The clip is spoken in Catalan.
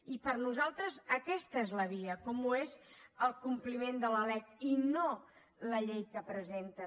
i per nosaltres aquesta és la via com ho és el compliment de la lec i no la llei que presenten